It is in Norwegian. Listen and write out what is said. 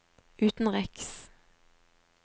utenriks